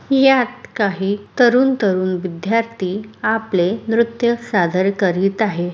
यात काही तरुण तरुण विध्यार्थी आपले नृत्य सादर करीत आहे.